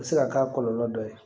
A bɛ se ka k'a kɔlɔlɔ dɔ ye